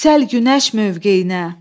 yüksəl günəş mövqeyinə,